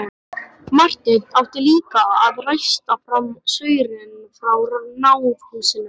Marteinn átti líka að ræsta fram saurinn frá náðhúsunum.